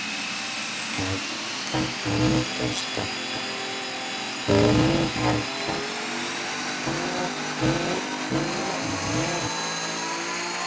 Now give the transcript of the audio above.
Edda Andrésdóttir: Guðný Helga hvað er um að vera?